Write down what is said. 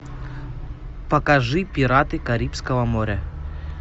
покажи пираты карибского моря